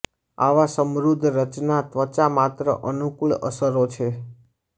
આવા સમૃદ્ધ રચના ત્વચા માત્ર અનુકૂળ અસરો છે